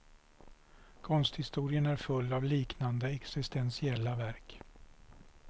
Konsthistorien är full av liknande, existentiella verk.